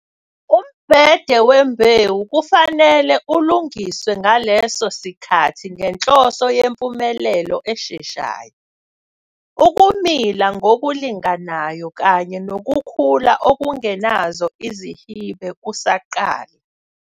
Umbhede wembewu kufanele ulungiswe ngaleso sikhathi ngenhloso yempumelelo esheshayo, ukumila ngokulinganayo kanye nokukhula okungenazo ezihibe kusaqala.